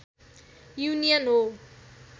union हो